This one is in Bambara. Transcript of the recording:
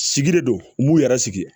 Sigi de don n b'u yɛrɛ sigi